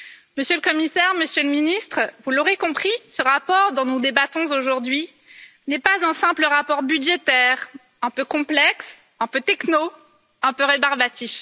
Monsieur le Commissaire, Monsieur le Ministre, vous l'aurez compris, ce rapport dont nous débattons aujourd'hui n'est pas un simple rapport budgétaire un peu complexe, un peu techno, un peu rébarbatif.